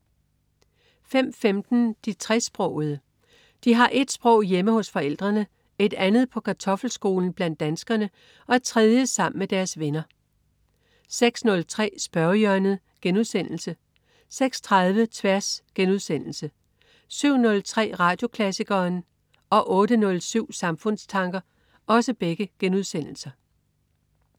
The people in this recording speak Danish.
05.15 De tresprogede. De har et sprog hjemme hos forældrene, et andet på kartoffelskolen blandt danskerne og et tredje sammen med deres venner 06.03 Spørgehjørnet* 06.30 Tværs* 07.03 Radioklassikeren* 08.07 Samfundstanker*